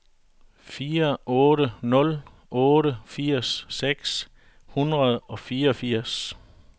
fire otte nul otte firs seks hundrede og fireogfirs